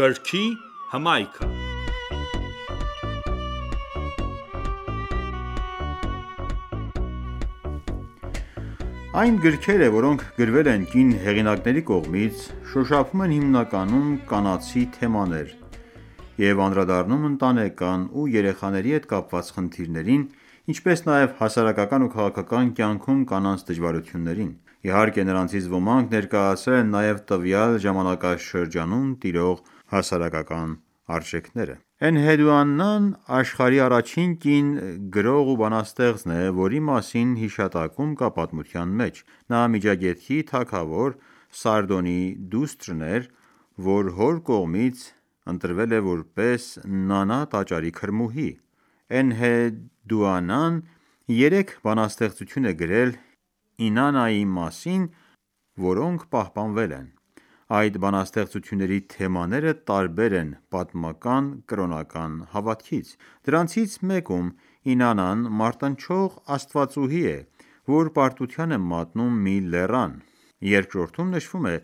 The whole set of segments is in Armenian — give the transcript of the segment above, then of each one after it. Գրքի հմայքը(36) Այն գրքերը որոնք գրվել են կին հեղինակների կողմից, շոշափում են հիմնականում կանացի թեմաներ և անդրադառնում ընտանեկան ու երեխաների հետ կապված խնդիրներին, ինչպես նաև հասարակական ու քաղաքական կյանքում կանանց դժվարություններին: Իհարկե նրանցից ոմանք ներկայացրել են նաև տվյալ ժամանակաշրջանում տիրող հասարակական արժեքները: Էնհեդուանան աշխարհի առաջին կին գրող ու բանաստեղծն է, որի մասին հիշատակում կա պատմության մեջ: Նա Միջագետքի թագավոր Սարդոնի դուստրն էր, որ հոր կողմից ընտրվել էր որպես Նանա տաճարի քրմուհի: Էնհեդուանան երեք բանաստեղծություն է գրել Ինանայի մասին, որոնք պահպանվել են: Այդ բանաստեղծությունների թեմաները տարբեր են պատմական կրոնական հավատքից: Դրանցից մեկում Ինանան մարտնչող աստվածաուհի է, որ պարտության է մատնում մի լեռան: Երկրորդում նշվում է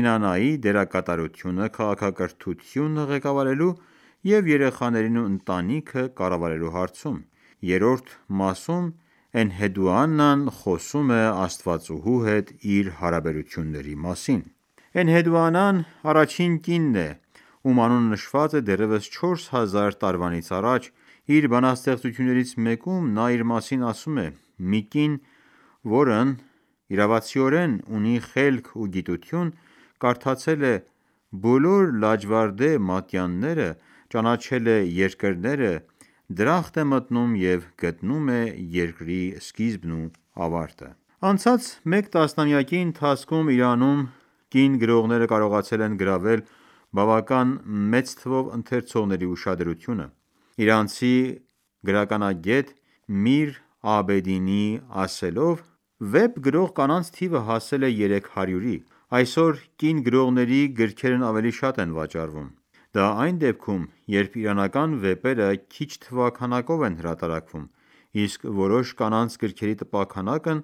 Ինանայի դերակատարությունը քաղաքակրթությունը ղեկավարելու և երեխաներին ու ընտանիքը կառավարելու հարցում: Երրորդ մասում Էնհեդուանան խոսում է Աստվածուհու հետ իր հարաբերությունների մասին: Սարգոնի դստեր՝Էնհեդուանայի քարի վրա փորագրված նկարը, որը պատկանում է մ.թ.ա. 2300թ Էնհեդուանան առաջին կինն է, ում անունը նշված է դեռևս 4 հազար տարվանից առաջ: Իր բանաստեղծություններից մեկում, նա իր մասին ասում է. «Մի կին, որն իրավացիորեն ունի խելք ու գիտություն, կարդացել է բոլոր լաջվարդե մատյանները, ճանաչել է երկրները, դրախտ է մտնում և գտնում է երկրի սկիզբն ու ավարտը»: Անցած մեկ տասնամյակի ընթացքում Իրանում կին գրողները կարողացել են գրավել բավականին մեծ թվով ընթերցողների ուշադրությունը: Իրանցի գրականագետ Միր Աբեդինիի ասելով. «Վեպ գրող կանանց թիվը հասել է 300 –ի: Այսօր կին գրողների գրքերն ավելի շատ են վաճառվում»: Դա այն դեպքում, երբ իրանական վեպերը քիչ թվաքականով են հրատարակվում, իսկ որոշ կանանց գրքերի տպաքանակն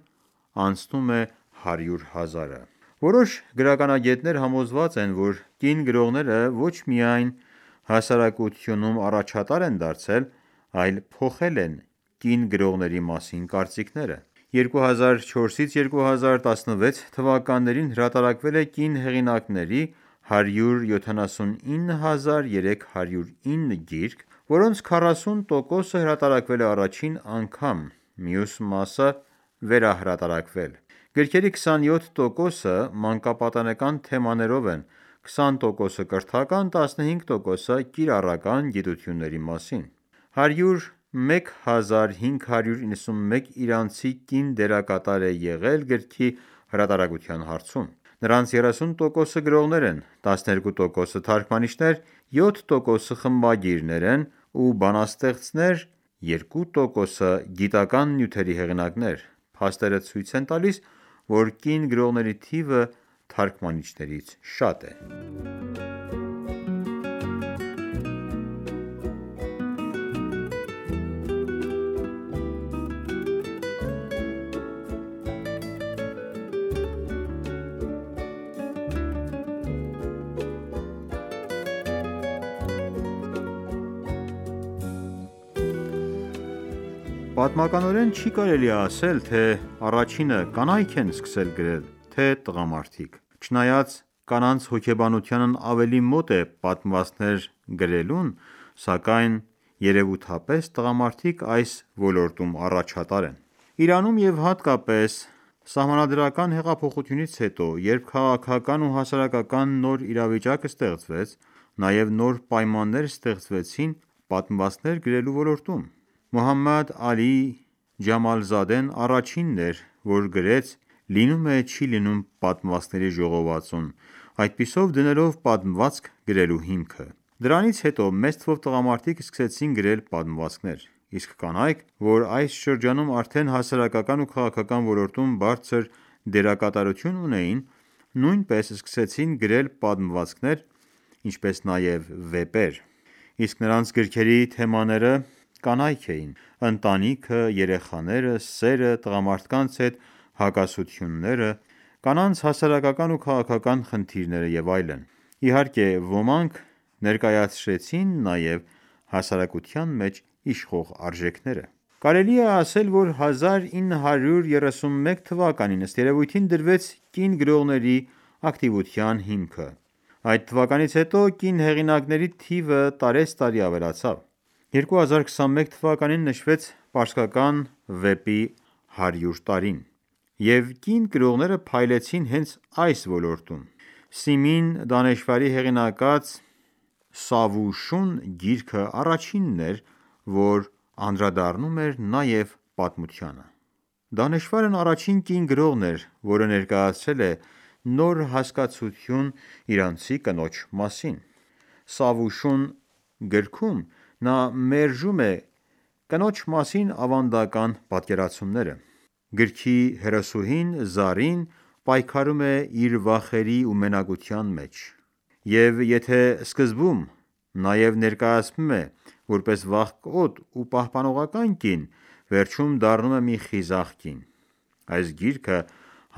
անցնում է հարյուր հազարը: Որոշ գրականագետներ համոզված են, որ կին գրողները ոչ միայն հասարակությունում առաջատար են դարձել, այլ փոխել են կին գրողների մասին կարծիքները: 2004-2016թթ. հրատարակվել է կին հեղինակների 179309 գիրք, որոնց 40 տոկոսը հրատարակվել է առաջին անգամ, մյուս մասը՝ վերահրատարակվել: Գրքերի 27 տոկոսը մանկապատանեկան թեմաներով են, 20 տոկոսը՝ կրթական, 15 տոկոսը՝ կիրառական գիտությունների մասին: 101591 իրանցի կին դերակատար է եղել գրքի հրատարակության հարցում: Նրանց 30 տոկոսը գորղներ են, 12 տոկոսը՝ թարգմանիչներ, 7 տոկոսը խմբագիրներ են ու բանաստեղծներ, երկու տոկսը՝ գիտական նյութերի հեղինակներ: Փաստերը ցույց են տալիս, որ կին գրողների թիվը թարգմանիչներից շատ է: Ժամանակակից իրանցի ամենահայտնի վիպասանուհիներից մի քանիսը Պատմականորեն չի կարելի ասել, թե առաջինը կանայ՞ք են սկսել գրել, թե՝ տղամարդիկ: Չնայած կանանց հոգեբանությունն ավելի մոտ է պատմվածքներ գրելուն, սակայն երևութապես տղամարդիկ այս ոլորտում առաջատար են: Իրանում և հատկապես սահմանադրական հեղափոխությունից հետո, երբ քաղաքական ու հասարակական նոր իրավիճակ ստեղծվեց, նաև նոր պայմաններ ստեղծվեցին պատմվածքներ գրելու ոլորտում: Մոհամմադ Ալի Ջամալզադեն առաջինն էր, որ գրեց «Լինում է չի լինում» պատմվածքների ժողովածուն, այդպիսով դնելով պատմվածք գրելու հիմքը: Դրանից հետո մեծ թվով տղամարդիկ սկսեցին գրել պատմվածքներ: Իսկ կանայք, որ այս շրջանում արդեն հասարակական ու քաղաքական ոլորտում բարձր դերակատարություն ունեին, նույնպես սկսեցին գրել պատմվածքներ, ինչպես նաև վեպեր: Իսկ նրանց գրքերի թեմաները կանայք էին, ընտանիքը, երեխաները, սերը, տղամարդկանց հետ հակասությունները, կանանց հասարակական ու քաղաքական խնդիրները և այլն: Իհարկե, ոմանք ներկայացրեցին նաև հասարակության մեջ իշխող արժեքները: Կարելի է ասել, որ 1931թ. ըստ երևույթին դրվեց կին գրողների ակտիվության հիմքը: Այդ թվականից հետո կին հեղինակիների թիվը տարեցտարի ավելացավ: 2021թ նշվեց պարսկական վեպի 100 տարին: Եվ կին գրողները փայլեցին հենց այս ոլորտում: Սիմին Դանեշվարի հեղինակած «Սավուշուն» գիրքն առաջինն էր որ անդրադառնում էր նաև պատմությանը: Դանեշվարն առաջին կին գրողն է, որը ներկայացրել է նոր հասկացություն իրանցի կնոջ մասին: «Սավուշուն» գրքում նա մերժում է կնոջ մասին ավանդական պատկերացումները: Գրքի հերոսուհին՝ Զարին, պայքարում է իր վախերի ու մենակության մեջ: Եվ եթե սկզբում նաև ներկայացվում է որպես վախկոտ ու պահպանողական կին, վերջում դառնում է մի խիզախ կին: Այս գիրքը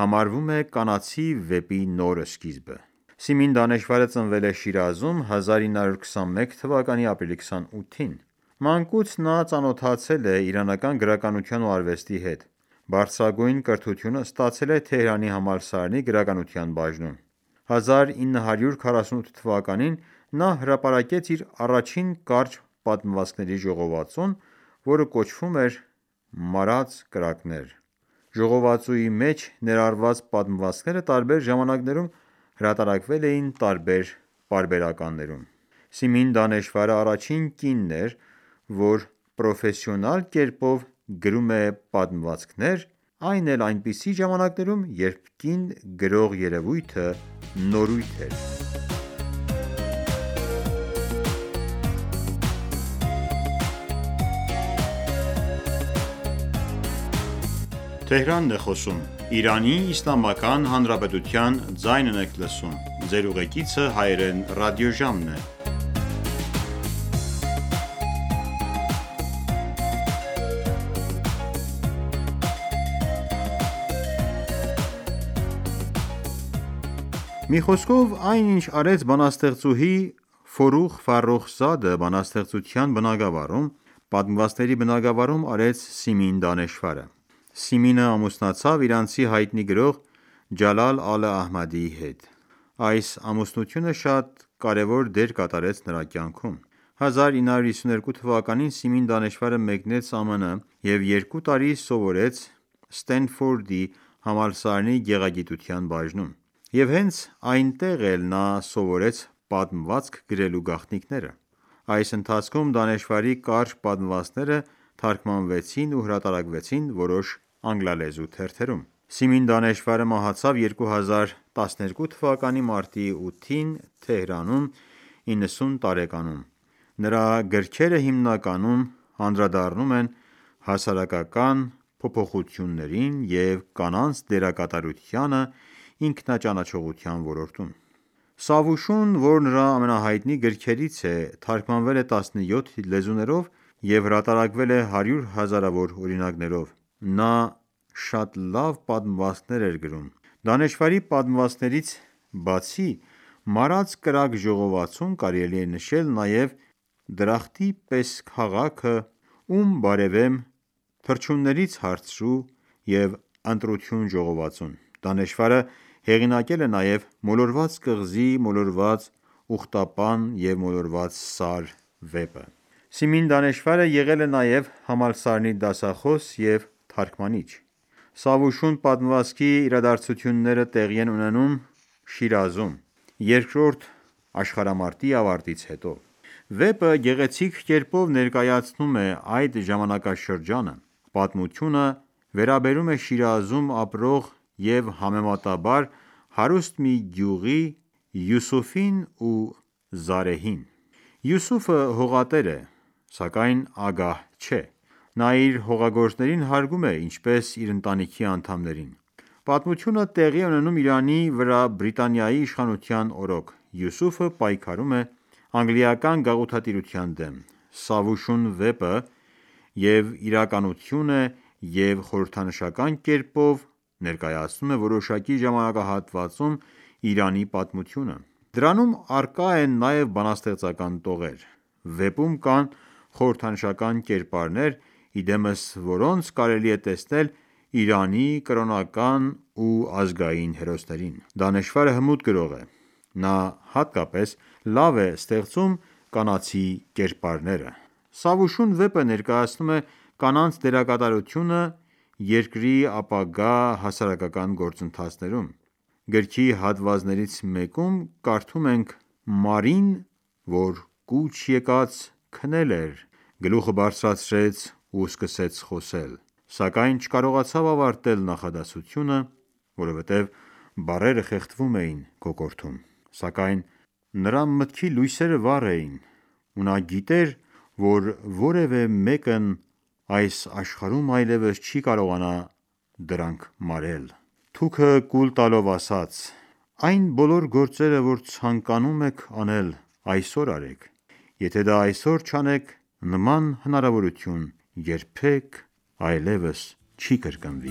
համարվում է կանացի վեպի նոր սկիզբը: Սիմին Դանեշվարը ծնվել է Շիրազում՝ 1921թ ապրիլի 28-ին: Մանկուց նա ծանոթացել է իրանական գրականության ու արվեստի հետ: Բարձրագույն կրթությունը ստացել է Թեհրանի համալսարանի գրականության բաժնում: 1948թ․ նա հարապարակեց իր առաջին կարճ պատմվածքների ժողովածուն, որը կոչվում էր «Մարած կրակներ»: Ժողովածուի մեջ ներառված պատմվածքները տարբեր ժամանակներում հրատարակվել էին տարբեր պարբերականներում: Սիմին Դանեշվարն առաջին կինն էր, որ կերպով գրում էր պատմվածքներ է, այն էլ այնպիսի ժամականերում, երբ կին գրող երևույթը նորույթ էր: Սիմին Դանեշվարը Մի խոսքով, այն ինչ արեց բանաստեղծուհի Ֆոռուղ ֆարոխզադը բանստեղծության բնագառավում, պատմվածքների բնագավառում արեց Սիմին Դանեշվարը: Սիմինն ամուսնացավ իրանցի հայտնի գրող Ջալալ ալ-Ահմադի հետ: Այս ամուսնությունը շատ կարևոր դեր կատարեց նրա կյանքում: 1952 թ․ Սիմին Դանեշվարը մեկնեց ՄՄՆ և երկու տարի սովորեց համալսարանի գեղագիտության բաժնում: Եվ հենց այնտեղ էլ նա սովորեց պատմվածք գրելու գաղտնիքները: Այս ընթացքում Դանեշվարի կարճ պատմվածքները թարգմանվեցին ու հրատարակվեցին որոշ անգլալեզու թերթերում: Սիմին Դանեշվարը մահացավ 2012 թ․մարտի 8-ին, Թեհրանում՝ 90 տարեկանում: Նրա գրքերը հիմնականում անդրադառնում են հասարակական փոփոխություններին և կանանց դերակատարությանը ինքնաճանաչողության ոլորտում: «Սավուշուն» որ նրա ամենահայտնի գրքերից է, թարգմանվել է 17 լեզուներով և հրատարակվել է հարյուր հազարավոր օրինակներով: Նա շատ լավ պատմվածքներ էր գրում: Դանեշվարի պատմվածքներից, բացի «Մարած կրակը» ժողովածուն, կարելի է նշել նաև «Դրախտի պես քաղաքը», «Ում բարևեմ», «Թռչուններից հարցրու» և «Ընտրություն» ժողովածուն: Դանեշվարը հեղինակել է նաև «Մոլորված կղզի, մոլորված ուղտապան և մոլորված սար» վեպը: Սիմին Դանեշվարը եղել է նաև համալսարանի դասախոս և թարգմանիչ: «Սավուշուն» պատմվածքի իրադարձությունները տեղի են ունենում Շիրազում, երկրորդ աշխարհամարտի ավարտից հետո: Վեպը գեղեցիկ կերպով ներկայացնում է այդ ժամանակաշրջանը: Պատմությունը վերաբերում է Շիրազում ապրող և համեմատաբար հարուստ մի զույգի՝ Յուսուֆին ու Զարեհին: Յուսուֆը հողատեր է, սակայն ագահ չէ: Նա իր հողագործներին հարգում է ինչպես իր ընտանիքի անդամներին: Պատմությունը տեղի է ունենում Իրանի վրա Բրիտանիայի իշխանության օրոք: Յուսուֆը պայքարում է անգլիական գաղութատիրության դեմ: «Սավուշուն» վեպը և իրականություն է և խորհրդանշական կերպով ներկայացնում է որոշակի ժամանակահատվածում Իրանի պատմությունը: Դրանում առկա են նաև բանաստեղծական տողեր: Վեպում կան խորհրդանշական կերպարներ, ի դեմս որոնց կարելի է տեսնել Իրանի կրոնական ու ազգային հերոսներին: Դանեշվարը հմուտ գրող է: Նա հատկապես լավ է ստեղծում կանացի կերպարները: «Սավուշուն» վեպը ներկայացնում է կանանց դերակատարությունը երկրի ապագա հասարակական գործընթացներում: Գրքի հատվածներից մեկում կարդում ենք. «Մարին, որը կուչ եկած քնել էր, գլուխը բարձրացրեց ու սկսեց խոսել, սակայն չկարողացավ ավարտել նախադասությունը, որովհետև բառերը խեղդվում էին կոկորդում: Սակայն նրա մտքի լույսերը դեռ վառ էին ու նա գիտեր, որ որևէ մեկն այս աշխարհում այլևս չի կարողանա դրանք մարել: Թուքը կուլ տալով, ասաց,- Այն բոլոր գործերը, որ ցանկանում եք անել, այսօր արեք: Եթե դա այսօր չանեք, նման հնարավորություն երբեք այլևս չի կրկնվի»: